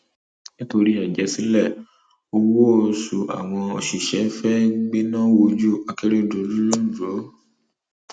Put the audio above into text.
nítorí àjẹsílẹ um owóoṣù àwọn òṣìṣẹ fẹẹ gbéná wójú akérèdọlù um londo